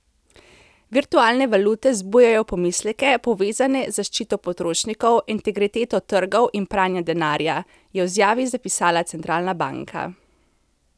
Virtualne valute zbujajo pomisleke, povezane z zaščito potrošnikov, integriteto trgov in pranjem denarja, je v izjavi zapisala centralna banka.